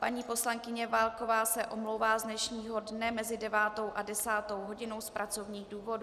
Paní poslankyně Válková se omlouvá z dnešního dne mezi 9. až 10. hodinou z pracovních důvodů.